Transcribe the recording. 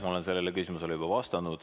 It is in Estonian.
Ma olen sellele küsimusele juba vastanud.